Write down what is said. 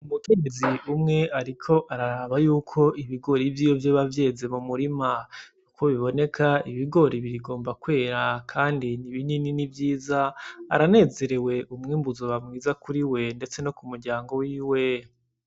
Umukenyezi umwe ariko araraba yuko ibigori vyiwe vyoba vyeze mu murima, kuko biboneka ibigori bigomba kwera kandi ni binini ni vyiza, aranezerewe umwimbu uzoba mwiza kuriwe ndetse no ku muryango wiwe.